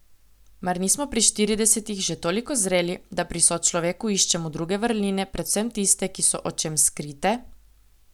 Mar nismo pri štiridesetih že toliko zreli, da pri sočloveku iščemo druge vrline, predvsem tiste, ki so očem skrite?